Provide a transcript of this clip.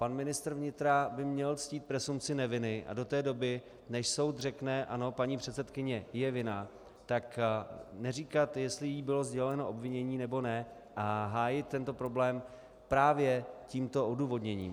Pan ministr vnitra by měl ctít presumpci neviny a do té doby, než soud řekne "ano, paní předsedkyně je vinna", tak neříkat, jestli jí bylo sděleno obvinění, nebo ne, a hájit tento problém právě tímto odůvodněním.